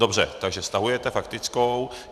Dobře, takže stahujete faktickou.